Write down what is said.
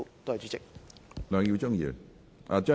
梁耀忠議員，請發言。